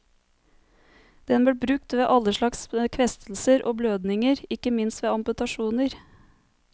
Den ble brukt ved alle slags kvestelser og blødninger, ikke minst ved amputasjoner.